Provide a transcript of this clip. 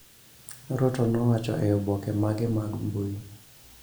Ruto nowacho e oboke mage mag mbui.